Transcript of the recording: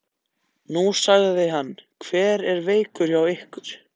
Nú, sagði hann, hver er veikur hjá ykkur?